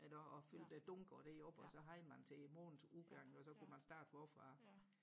eller og fyldte dunke og det op og så havde man til månedens udgang og så kunne man starte forfra